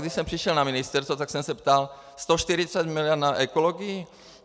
Když jsem přišel na ministerstvo, tak jsem se ptal: 140 miliard na ekologii?